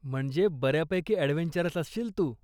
म्हणजे बऱ्यापैकी ॲडव्हेंचरस असशील तू.